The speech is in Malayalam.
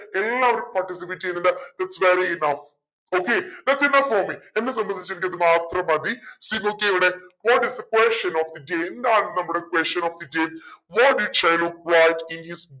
എല്ലാവരും participate ചെയ്യുന്നുണ്ട് its very enough okay thats enough for me എന്നെ സംബന്ധിച്ച് എനിക്ക് ഇത് മാത്രം മതി see നോക്കിയേ ഇവിടെ what is the question of the day എന്താണ് നമ്മുടെ question of the day what did Shylock want in his